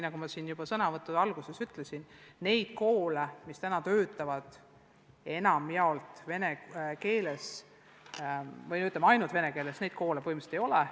Nagu ma täna kohe alguses ütlesin: neid koole, mis töötavad enamjaolt vene keeles või ainult vene keeles, põhimõtteliselt ei ole.